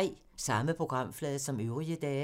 Samme programflade som øvrige dage